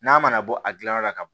N'a mana bɔ a gilan yɔrɔ la ka